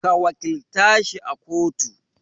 Ka wakilta shi a kotu